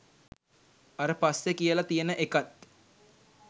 අර පස්සෙ කියල තියන එකත්